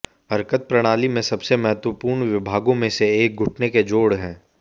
हरकत प्रणाली में सबसे महत्वपूर्ण विभागों में से एक घुटने के जोड़ है